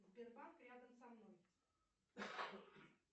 сбербанк рядом со мной